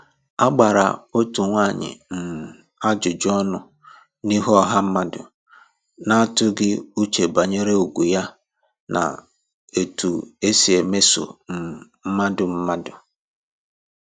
A gbara otu nwaanyị um ajụjụ ọnụ n’ihu ọha mmadụ, na-atụghị uche banyere ugwu ya na etu e si emeso um mmadụ mmadụ